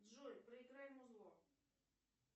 джой проиграй музло